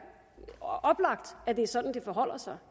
oplagt at det er sådan det forholder sig